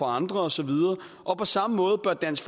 andre og så videre og på samme måde bør dansk